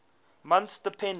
months depending